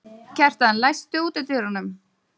Kjartan, læstu útidyrunum.